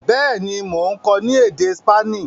béèni Món kò ni èdè Spani.